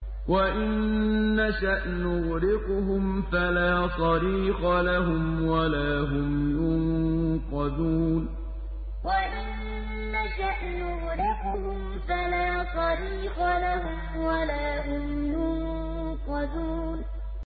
وَإِن نَّشَأْ نُغْرِقْهُمْ فَلَا صَرِيخَ لَهُمْ وَلَا هُمْ يُنقَذُونَ وَإِن نَّشَأْ نُغْرِقْهُمْ فَلَا صَرِيخَ لَهُمْ وَلَا هُمْ يُنقَذُونَ